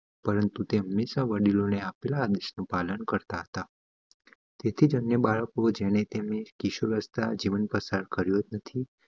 પરંતુ તે હંમેશા વડીલો થી આપેલા આદેશ નુ પાલન કરતા હતા તેથી બાળકો ને કિશોરે અવસ્થા જીવન પસાર કર્યુજ નથી